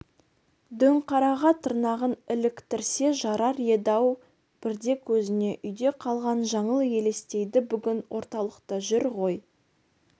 дөңқараға тырнағын іліктірсе жарар еді-ау бірде көзіне үйде қалған жаңыл елестейді бүгін орталықта жүр ғой